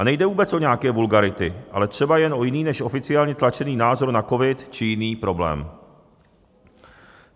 A nejde vůbec o nějaké vulgarity, ale třeba jen o jiný než oficiálně tlačený názor na covid či jiný problém.